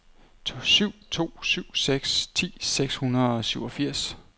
syv to syv seks ti seks hundrede og syvogfirs